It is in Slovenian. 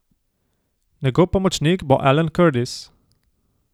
Njegov pomočnik bo Alan Curtis.